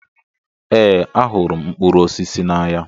Ee, ahụrụ m mkpụrụ osisi n'anya